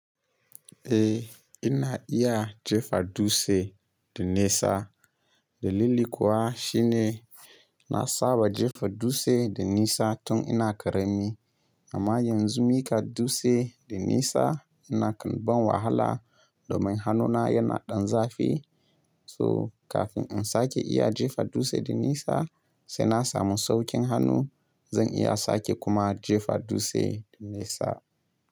Eh ina iya jefa dutse da nesa. Dalili kuwa shine na saba jefa dutse da nesa tun ina ƙarami. Amma yanzu miƙa dutse da nesa ina kan ban wahala domin hannuna yana ɗan zafi. So kafin in sake iya jefa dutse da nesa sai na samu sauƙin hannu. Zan iya sake kuma jefa dutse da nesa.